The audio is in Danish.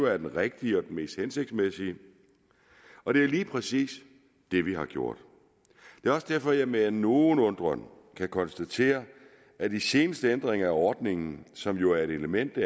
rigtige og den mest hensigtsmæssige og det er lige præcis det vi har gjort det er også derfor at jeg med nogen undren kan konstatere at de seneste ændringer af ordningen som jo er et element i